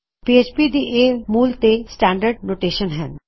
PHP ਦੀ ਇਹ ਮੂਲ ਤੇ ਸਟੈਨਡਰਡ ਨੋਟੇਸ਼ਨ ਹੈ